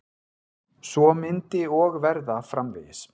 Svo myndi og verða framvegis.